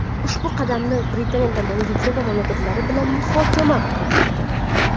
Ushbu qadamni Britaniya tomoni Yevropa mamlakatlari bilan muhokama qiladi.